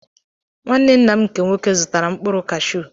Nwanne nna m nke nwoke zụtara mkpụrụ kashuu